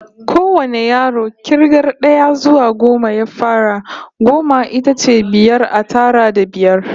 Kowane yaro k'irgar d'aya zuwa goma ya fara. Goma ita ce biyar a tara da biyar.